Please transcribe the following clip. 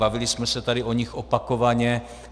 Bavili jsme se tady o nich opakovaně.